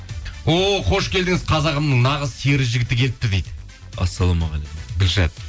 о қош келдіңіз қазағымның нағыз сері жігіті келіп дейді ассалаумағалейкум гүлшат